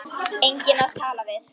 Enginn að tala við.